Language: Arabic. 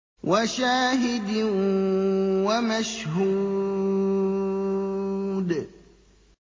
وَشَاهِدٍ وَمَشْهُودٍ